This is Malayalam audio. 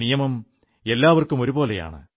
നിയമം എല്ലാവർക്കും ഒരുപോലെയാണ്